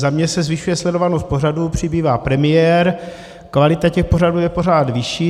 Za mě se zvyšuje sledovanost pořadů, přibývá premiér, kvalita těch pořadů je pořád vyšší.